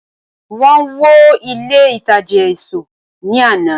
wón wo ilé ìtajà asọ ni Ana